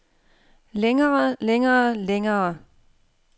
længere længere længere